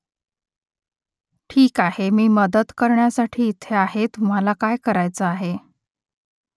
ठीक आहे मी मदत करण्यासाठी इथे आहे तुम्हाला काय करायचं आहे ?